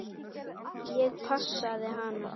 Ég passaði hana.